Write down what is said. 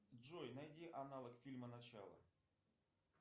джой найди аналог фильма начало